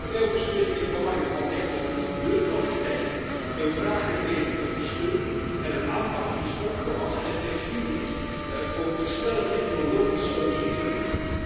Daarbij onderstreep ik het belang van technologieneutraliteit, een vraaggedreven ondersteuning en een aanpak die is opgewassen tegen en flexibel is met het oog op de snelle technologische ontwikkelingen.